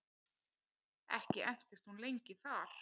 Ekki entist hún lengi þar.